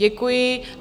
Děkuji.